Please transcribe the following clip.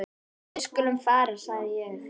Við skulum fara sagði ég.